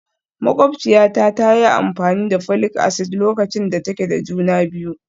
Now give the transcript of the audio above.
Makwabciyata ta yi amfani da folic acid lokacin da take da juna biyu